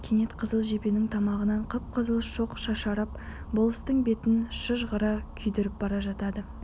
кенет қызыл жебенің тамағынан қып-қызыл шоқ шашырап болыстың бетін шыжғыра күйдіріп бара жатады